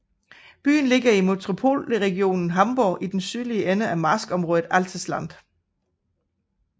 Byen ligger i Metropolregion Hamburg i den sydlige ende af marskområdet Altes Land